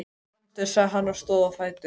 Komdu, sagði hann og stóð á fætur.